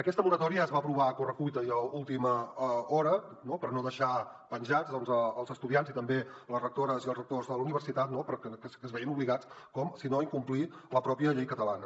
aquesta moratòria es va aprovar a correcuita i a última hora per no deixar penjats els estudiants i també les rectores i els rectors de la universitat que es veien obligats si no a incomplir la pròpia llei catalana